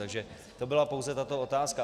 Takže to byla pouze tato otázka.